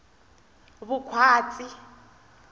vukhwatsi